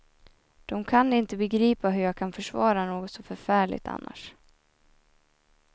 De kan inte begripa hur jag kan försvara något så förfärligt annars.